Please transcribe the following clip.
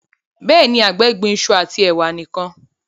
béèni àgbè gbìn iṣu ati ewa nìkàn.